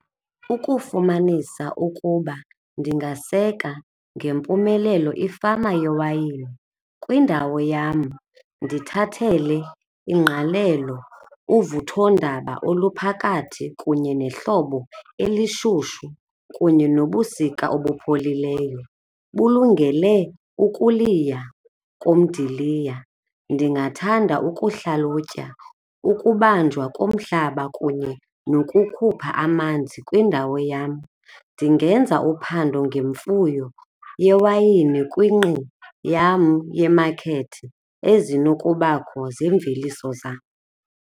Ukufumanisa ukuba ndingaseka ngempumelelo ifama yewayini kwindawo yam ndithathele ingqalelo uvuthondaba oluphakathi kunye nehlobo elishushu kunye nobusika obupholileyo bulungele ukuliya komdiliya ndingathanda ukuhlalutya ukubanjwa komhlaba kunye nokukhupha amanzi kwindawo yam ndingenza uphando ngemfuyo yewayini kwingqi yam ye-market ezinokubakho zeemveliso zam.